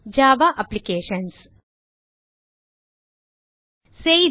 Java applications செய்தி